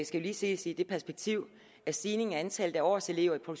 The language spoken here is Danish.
skal ses i det perspektiv at stigningen i antallet af årselever på